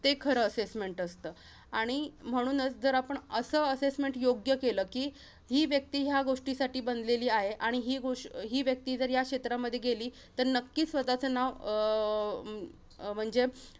ते खरं assessment असतं. आणि म्हणूच जर आपण असं assessment योग्य केलं कि, ही व्यक्ती या गोष्टीसाठी बनलेली आहे. आणि हि गोष~ ही व्यक्ती जर या क्षेत्रामध्ये गेली तर नक्कीच स्वतःचं नाव अं अं म्हणजे